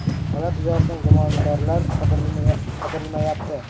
Holat yuzasidan gumondorlar qidirilmayapti.